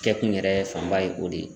Kɛkun yɛrɛ fanba ye o de ye.